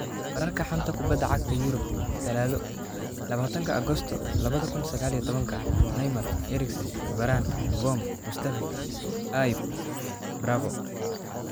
Wararka xanta kubada cagta Yurub Talaado labatanka Agosto laba kun iyo sagal iyo tabanka: Neymar, Eriksen, Varane, Vorm, Mustafi, Ibe, Bravo